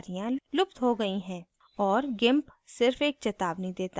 और gimp सिर्फ एक चेतावनी देता है